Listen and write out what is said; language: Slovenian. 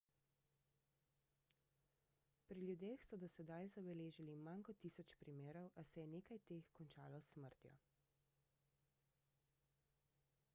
pri ljudeh so do sedaj zabeležili manj kot tisoč primerov a se je nekaj teh končalo s smrtjo